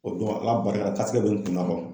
O don ala barika la taa bɛ n kunna